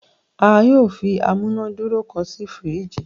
a yóò fí amunaduro kán sí firiji